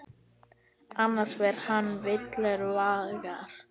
Annars fer ég villur vegar.